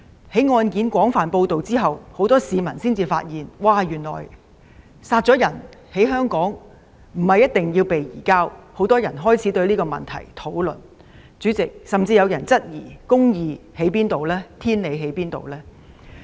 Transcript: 在案件被廣泛報道後，很多市民發現，原來兇手殺人後逃到香港，不一定會被移交，於是很多人開始討論這問題，甚至有人質疑公義何在，天理何在。